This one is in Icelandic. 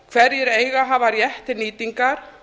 hverjir eiga að hafa rétt til nýtingar